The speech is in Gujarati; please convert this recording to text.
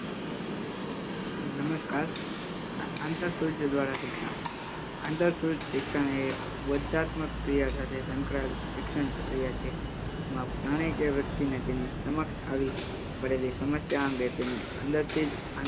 નમસ્કા આંતર સૂજ દ્વારા શિક્ષણ. આંતર સૂજ શિક્ષણ એક વ ધ્યાત્મક ક્રિયા સાથે સંકળાયેલ શિક્ષણ પ્રક્રિયા છે જેમાં પ્રાણી કે વ્યક્તિ ને તેની સમક્ષ આવી પડેલી સમસ્યા અંગે તેની અંદરથી જ